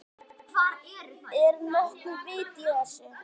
Er nokkuð vit í þessu?